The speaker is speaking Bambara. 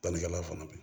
Bannikɛla fana bɛ